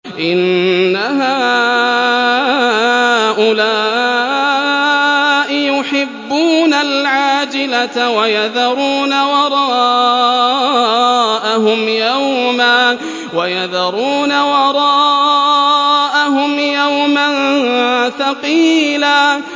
إِنَّ هَٰؤُلَاءِ يُحِبُّونَ الْعَاجِلَةَ وَيَذَرُونَ وَرَاءَهُمْ يَوْمًا ثَقِيلًا